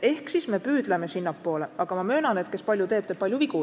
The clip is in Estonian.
Me püüdleme sinnapoole, aga ma möönan, et kes palju teeb, teeb palju vigu.